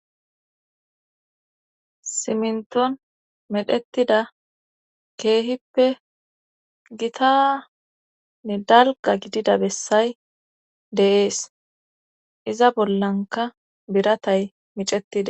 simnton medhetida keehippe gitanne dalga gidida bessay deees iza bollanka biratay micetida